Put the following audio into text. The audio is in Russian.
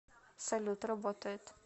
салют работает